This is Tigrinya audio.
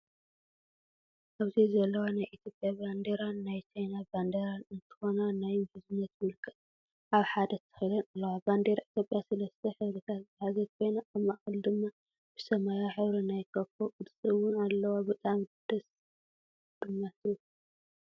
ኣብዚ ዘለዋ ናይ ኢትዮጰያ ባንዴራን ናይ ቻይና ባንዴራን እንትኮና ናይ ምሕዝነት ምልክት ኣብ ሓደ ተተኪለን ኣለዋ። ባንዴራ ኢትዮጰያ 3ተ ሕብሪታት ዝሓዘት ኮይና ኣብ ማእከላ ድማ ብሰማያዊ ሕብሪ ናይ ኮኮብ ቅርፂ እወን ኣለዋ ብጣዕሚ ድማ ደስ ትብል።